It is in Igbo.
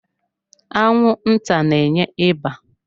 Anwụnta na-enye ịba.